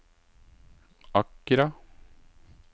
Accra